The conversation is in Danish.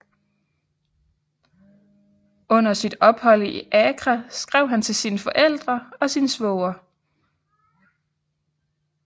Under sit ophold i Accra skrev han til sine forældre og sin svoger